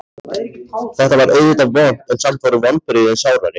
Þetta var auðvitað vont en samt voru vonbrigðin sárari.